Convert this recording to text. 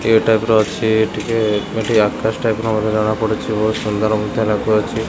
ଇଏ ଟାଇପ୍ ର ଅଛି ଟିକେ ଏଠି ଆକାଶ ଟାଇପ୍ ର ମଧ୍ୟ ଜଣା ପଡୁଚି ବହୁତ ସୁନ୍ଦର ମଧ୍ୟ ଲାଗୁ ଅଛି।